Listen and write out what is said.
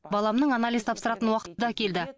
баламның анализ тапсыратын уақыты да келді